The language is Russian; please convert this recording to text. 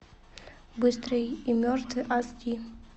быстрый и мертвый аш ди